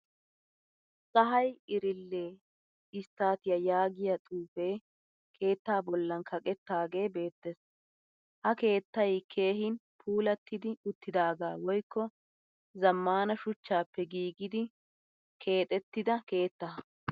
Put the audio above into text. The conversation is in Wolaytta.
Tsahayi iriile istatiyaa yaagiyaa xuufe keetta bollan kaqqettage beettees. Ha keettay keehin puulattidi uttidaga woykko zamaana shuchchappe giigidi keexettida keetta.